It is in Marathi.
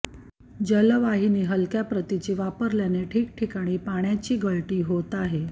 जलवाहिनी हलक्या प्रतीची वापरल्याने ठिकठिकाणी पाण्याची गळती होत आहे